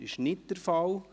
– Das ist nicht der Fall.